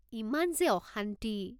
ইমান যে অশান্তি!